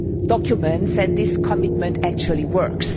documents and this commitment actually working.